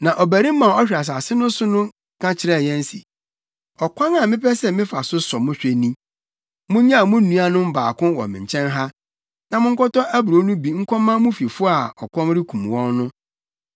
“Na ɔbarima a ɔhwɛ asase no so ka kyerɛɛ yɛn se, ‘Ɔkwan a mepɛ sɛ mefa so sɔ mo hwɛ ni: Munnyaw mo nuanom baako wɔ me nkyɛn ha, na monkɔtɔ aburow no bi nkɔma mo fifo a ɔkɔm rekum wɔn no.